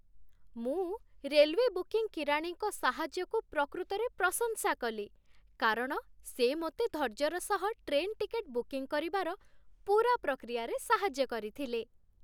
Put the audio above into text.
ମୁଁ railway booking କିରାଣୀଙ୍କ ସାହାଯ୍ୟକୁ ପ୍ରକୃତରେ ପ୍ରଶଂସା କଲି କାରଣ ସେ ମୋତେ ଧୈର୍ଯ୍ୟର ସହ ଟ୍ରେନ୍ ଟିକେଟ୍ ବୁକିଂ କରିବାର ପୂରା ପ୍ରକ୍ରିୟାରେ ସାହାଯ୍ୟ କରିଥିଲେ।